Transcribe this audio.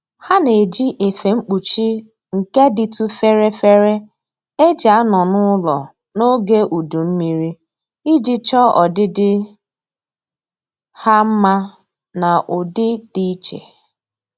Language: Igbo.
Ha na-eji efe mkpuchi nke dịtụ fere fere e ji anọ n'ụlọ n'oge udu mmiri iji chọọ ọdịdị ha mma n'ụdị dị iche